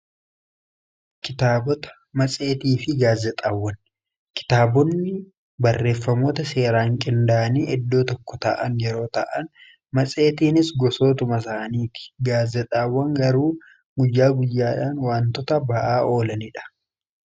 Kitaabota, matseetii fi gaazexaawwan, kitaabonni barreeffamoota seeraan qinda'anii eddoo tokko ta'an yeroo ta'an matseetiinis gosootuma saaniiti. Gaazexaawwan garuu guyyaa guyyaadhaan waantota ba'aa oolaniidha.